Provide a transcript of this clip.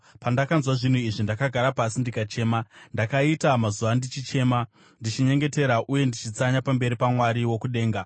Pandakanzwa zvinhu izvi, ndakagara pasi ndikachema. Ndakaita mazuva ndichichema, ndichinyengetera uye ndichitsanya pamberi paMwari wokudenga.